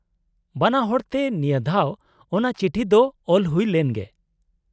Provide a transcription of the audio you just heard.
-ᱵᱟᱱᱟᱦᱚᱲ ᱛᱮ ᱱᱤᱭᱟᱫᱷᱟᱣ ᱚᱱᱟ ᱪᱤᱴᱷᱤ ᱫᱚ ᱚᱞ ᱦᱩᱭ ᱞᱮᱱ ᱜᱮ ᱾